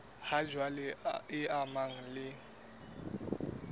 ha jwale e amanang le